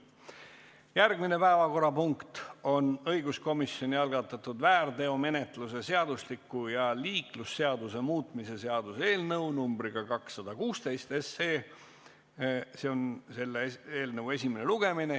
Järgmine päevakorrapunkt on õiguskomisjoni algatatud väärteomenetluse seadustiku ja liiklusseaduse muutmise seaduse eelnõu 216 esimene lugemine.